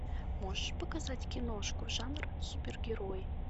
можешь показать киношку жанр супергерои